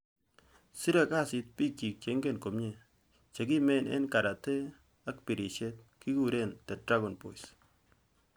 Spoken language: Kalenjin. Siree kasiit piik chiik cheingen komnyie, chekiimeen eng' karate ank pirisiet, kiguree 'The dragon boys'.